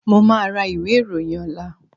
Mo máa ra ìwé ìròyìn ọ̀la